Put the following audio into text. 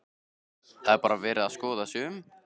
Það er bara verið að skoða sig um?